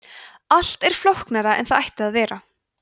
allt er flóknara en það ætti að vera